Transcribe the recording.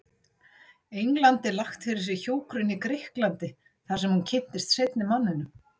Englandi lagt fyrir sig hjúkrun í Grikklandi, þarsem hún kynntist seinni manninum.